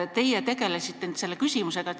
Teie tegelesite selle küsimusega.